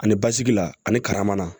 Ani basigi la ani karamana